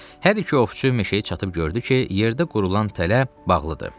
Hər iki ovçu meşəyə çatıb gördü ki, yerdə qurulan tələ bağlıdır.